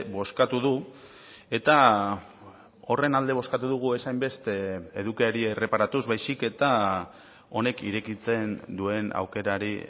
bozkatu du eta horren alde bozkatu dugu ez hainbeste edukiari erreparatuz baizik eta honek irekitzen duen aukerari